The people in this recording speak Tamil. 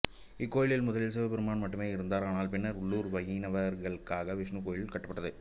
இக்கோயிலில் முதலில் சிவபெருமான் மட்டுமே இருந்தார் ஆனால் பின்னர் உள்ளூர் வைணவர்களுக்காக விஷ்ணு கோவில் கட்டப்பட்டது